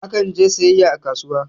Akan je siyayya a kasuwa